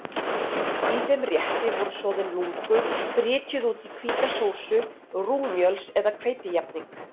Í þeim rétti voru soðin lungu brytjuð út í hvíta sósu, rúgmjöls- eða hveitijafning.